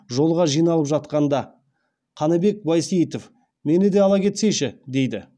жолға жиналып жатқанда қанабек байсейітов мені де ала кетсейші дейді